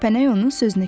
Kəpənək onun sözünü kəsdi.